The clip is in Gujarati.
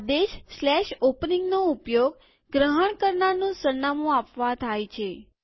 આદેશ openingનો ઉપયોગ ગ્રહણ કરનારનું સરનામું આપવા થાય છે